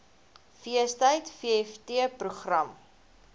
feestyd vft program